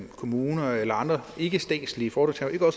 kommuner eller andre ikkestatslige foretagender